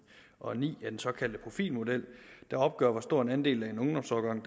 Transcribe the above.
og ni af den såkaldte profilmodel der opgør hvor stor en andel af en ungdomsårgang